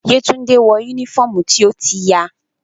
Yetunde wọ unifọmú ti o ti ya.